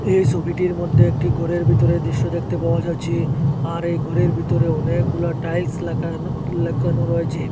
এই সবিটির মধ্যে একটি ঘরের ভিতরের দৃশ্য দেখতে পাওয়া যাচ্ছে আর এই ঘরের ভিতরে অনেকগুলা টাইলস লাখানো লাকানো রয়েছে।